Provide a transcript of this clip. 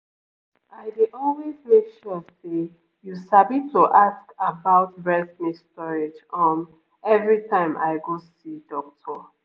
i dey always make sure say you sabi to ask about breast milk storage um every time i go see doctor